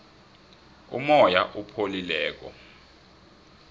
umoya opholileko